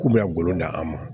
K'u bɛ ka golo di an ma